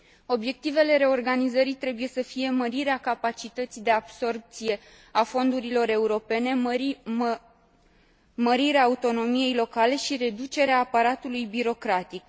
Obiectivele reorganizării trebuie să fie mărirea capacității de absorbție a fondurilor europene, mărirea autonomiei locale și reducerea aparatului birocratic.